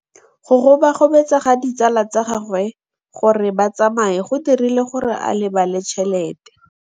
Go gobagobetsa ga ditsala tsa gagwe, gore ba tsamaye go dirile gore a lebale tšhelete.